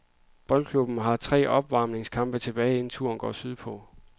Boldklubben har tre opvarmningskampe tilbage, inden turen går syd på.